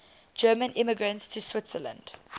german immigrants to switzerland